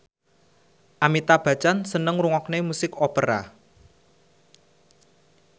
Amitabh Bachchan seneng ngrungokne musik opera